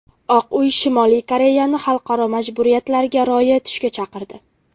Oq uy Shimoliy Koreyani xalqaro majburiyatlarga rioya etishga chaqirdi.